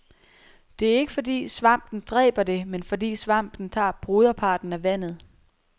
Det er ikke fordi svampen dræber det, men fordi svampen tager broderparten af vandet.